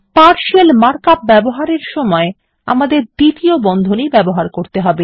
partial mark up ব্যবহারের সময় আমাদের দ্বিতীয় বন্ধনী ব্যবহার করতে হবে